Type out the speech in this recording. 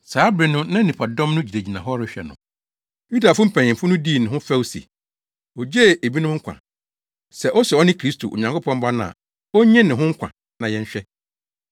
Saa bere no na nnipadɔm no gyinagyina hɔ rehwɛ no. Yudafo mpanyimfo no dii ne ho fɛw se, “Ogyee ebinom nkwa; sɛ ose ɔno ne Kristo, Onyankopɔn Ba no a, onnye ne ho nkwa na yɛnhwɛ.”